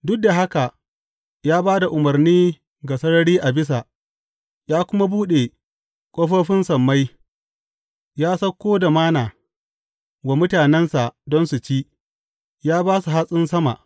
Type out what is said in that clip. Duk da haka ya ba da umarni ga sarari a bisa ya kuma buɗe ƙofofin sammai; ya sauko da Manna wa mutanensa don su ci, ya ba su hatsin sama.